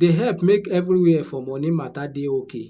dey help make everywhere for money matter dey okay